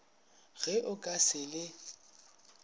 ge o ka se le